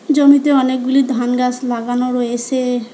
জমিতে অনেকগুলি ধান গাছ লাগানো রয়েসে।